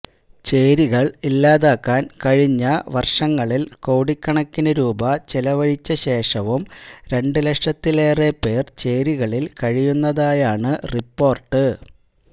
ചേരികൾ ഇല്ലാതാക്കാൻ കഴിഞ്ഞ വർഷങ്ങളിൽ കോടികണക്കിന് രൂപ ചെലവഴിച്ചശേഷവും രണ്ടുലക്ഷത്തിലേറെ പേർ ചേരികളിൽ കഴിയുന്നതായാണ് റിപ്പോർട്ട്